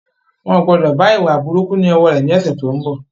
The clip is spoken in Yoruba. Wọn o gbọdọ̀ bá ìwà burúkú lọ wọ rẹ ni ọ̀sẹ̀ tó ń bọ̀